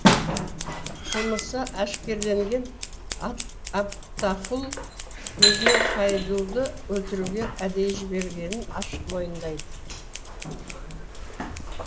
қылмысы әшкереленген абтақұл өзінің хайдуды өлтіруге әдейі жіберілгенін ашық мойындайды